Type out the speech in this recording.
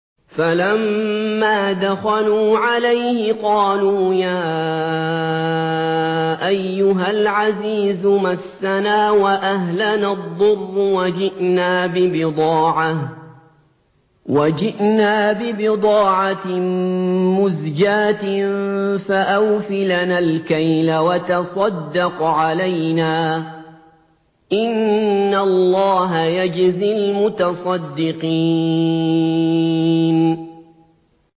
فَلَمَّا دَخَلُوا عَلَيْهِ قَالُوا يَا أَيُّهَا الْعَزِيزُ مَسَّنَا وَأَهْلَنَا الضُّرُّ وَجِئْنَا بِبِضَاعَةٍ مُّزْجَاةٍ فَأَوْفِ لَنَا الْكَيْلَ وَتَصَدَّقْ عَلَيْنَا ۖ إِنَّ اللَّهَ يَجْزِي الْمُتَصَدِّقِينَ